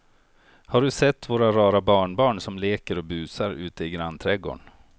Har du sett våra rara barnbarn som leker och busar ute i grannträdgården!